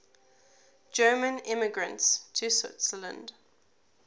german immigrants to switzerland